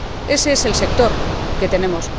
Ese es el sector que tenemos.